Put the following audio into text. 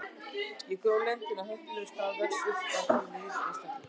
Ef gró lendir á heppilegum stað vex upp af því nýr einstaklingur.